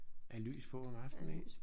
Er lys på om aftenen ik?